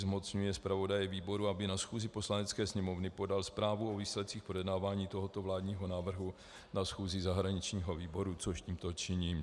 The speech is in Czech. Zmocňuje zpravodaje výboru, aby na schůzi Poslanecké sněmovny podal zprávu o výsledcích projednávání tohoto vládního návrhu na schůzi zahraničního výboru - což tímto činím.